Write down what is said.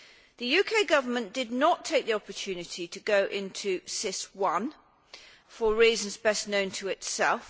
The UK Government did not take the opportunity to go into SIS I for reasons best known to itself.